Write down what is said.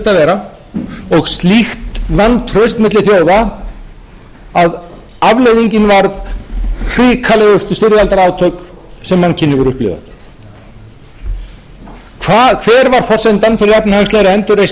að fara og slíkt vantraust milli þjóða að afleiðingin varð hrikalegustu styrjaldarátök sem mannkynið hefur upplifað hver var forsendan fyrir efnahagslegri endurreisn